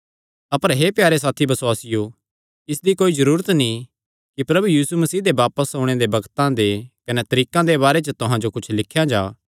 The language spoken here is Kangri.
अपर हे प्यारे साथी बसुआसियो इसदी कोई जरूरत नीं कि प्रभु यीशु मसीह दे बापस ओणे दे बग्तां दे कने तरीकां दे बारे च तुहां जो कुच्छ लिख्या जां